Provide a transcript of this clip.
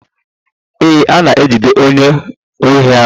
Ee, a na-ejide onye ohi ahụ.